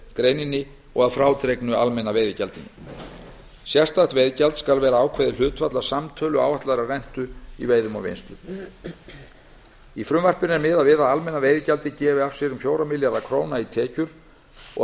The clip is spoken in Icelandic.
greininni og að frádregnu almenna veiðigjaldinu sérstakt veiðigjald skal vera ákveðið hlutfall af samtölu áætlaðrar rentu í veiðum og vinnslu í frumvarpinu er miðað við að almenna veiðigjaldið gefi af sér um fjóra milljarða króna í tekjur og að